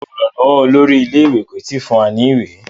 Ràrá olùrànlówó olórí ilé ìwé tí kò tí fún wá ní ìwé.